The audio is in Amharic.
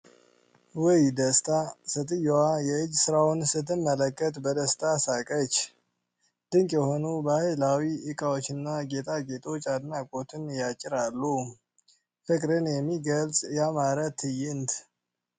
ውይ ደስታ ! ሴትየዋ የእጅ ስራውን ስትመለከት በደስታ ሳቀች። ድንቅ የሆኑ ባህላዊ እቃዎችና ጌጣጌጦች አድናቆትን ያጭራሉ። ፍቅርን የሚገልፅ ያማረ ትዕይንት!